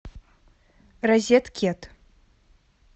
розеткед